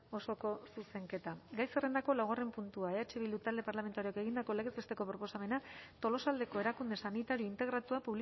osoko zuzenketa gai zerrendako laugarren puntua eh bildu talde parlamentarioak egindako legez besteko proposamena tolosaldeko erakunde sanitario integratua